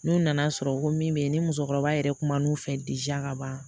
N'u nana sɔrɔ ko min bɛ yen ni musokɔrɔba yɛrɛ kuma n'u fɛ ka ban